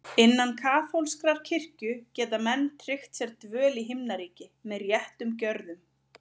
Innan kaþólskrar kirkju geta menn tryggt sér dvöl í Himnaríki með réttum gjörðum.